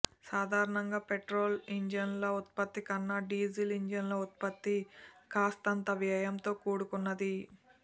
సాధారణంగా పెట్రోల్ ఇంజన్ల ఉత్పత్తి కన్నా డీజిల్ ఇంజన్ల ఉత్పత్తి కాస్తంత వ్యయంతో కూడుకున్నది